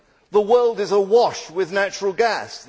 The world is awash with natural gas.